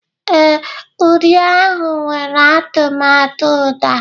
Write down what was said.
Ee, uri ahụ nwere atụmatụ uda